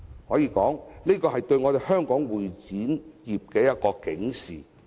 可以說，這是對香港會展業的一種警示。